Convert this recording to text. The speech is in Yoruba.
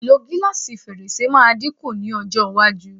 Ìlò gílásì fèrèsé máa dín kù ní ọjọ́ iwájú.